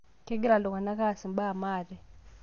Kegira iltunganak ass embaa maate